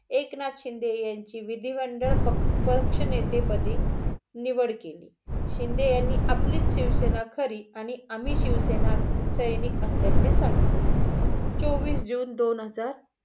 एकनाथ शिंदे ह्याची विधी मंडळ पक्षनेते पदी निवड केली. शिंदे यांनी आपलीच शिवसेना खरी आणि आम्ही शिवसेना सैनिक असल्याचे सांगितले. चोवीस जून दोन हजार